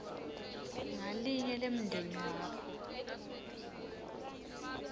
ngalinye lemndeni wakho